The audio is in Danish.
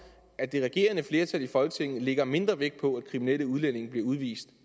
at det regerende flertal i folketinget lægger mindre vægt på at kriminelle udlændinge bliver udvist